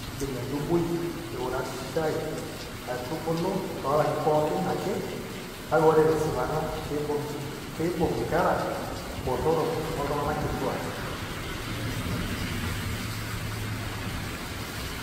Keidim entubui eurachal atubulu toolarin pooki ake, kake ore tesipata keibung' inkera botorok oltung'anak kituak.